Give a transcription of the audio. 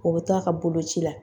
O bɛ to a ka boloci la.